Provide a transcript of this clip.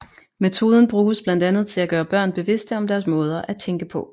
Metoden bruges blandt andet til at gøre børn bevidste om deres måder at tænke på